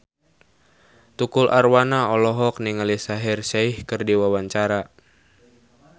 Tukul Arwana olohok ningali Shaheer Sheikh keur diwawancara